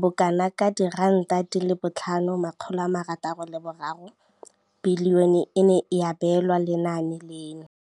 bokanaka R5 703 bilione e ne ya abelwa lenaane leno.